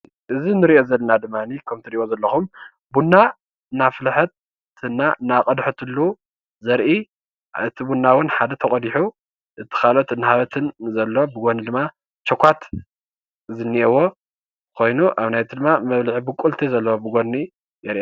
እዚ እንርኦ ዘለና ድማኒ ከምቲ ተርእይዎ ዘለኩም ቡና እናፍለሓት እና እንዳቀደሓትሉ ዘርኢ እቲ ቡና ሓደ ተቀዲሑ እቲ ካልኦት እናሃበትን ድማ ቸካት ዝነኦዎ ኮይኑ ኣብ ጎኑ ድማ መብልዒ ቡቁለቲ ዘለዎ የርኢ።